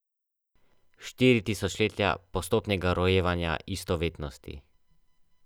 Štiri tisočletja postopnega rojevanja istovetnosti.